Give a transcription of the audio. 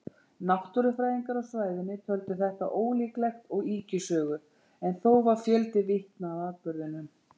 Náttúrufræðingar á svæðinu töldu þetta ólíklegt og ýkjusögu, en þó var fjöldi vitna að atburðinum.